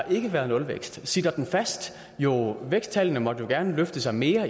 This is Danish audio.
ikke været nulvækst sitter den fast jo væksttallene måtte i gerne løfte sig mere